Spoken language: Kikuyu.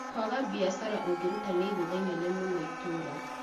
Kwaga biacara ũngĩruta nĩ igũtha inene mũno itũra